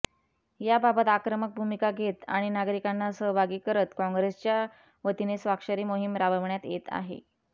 याबाबत आक्रमक भूमिका घेत आणि नागरिकांना सहभागी करत काँग्रेसच्या वतीने स्वाक्षरी मोहीम राबवण्यात येत आहे